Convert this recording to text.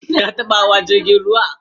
Ka taba hawa jirgin ruwa?